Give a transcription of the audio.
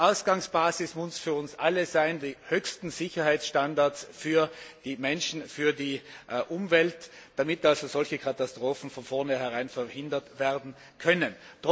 Ausgangsbasis muss für uns alle sein, die höchsten Sicherheitsstandards für die Menschen, für die Umwelt zu schaffen, damit also solche Katastrophen von vornherein verhindert werden können.